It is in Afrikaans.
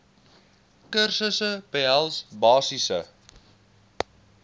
kursusse behels basiese